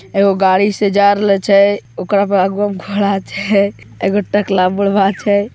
एगो गाड़ी से जार लय छे एगो टकला बुढ़्वा छे